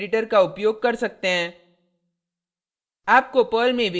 आप अपने पसंद के किसी भी टेक्स एडिटर का उपयोग कर सकते हैं